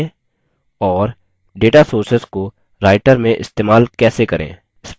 और data sources को writer में इस्तेमाल कैसे करें